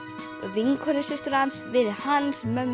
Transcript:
vinkonu systur hans vinum hans mömmu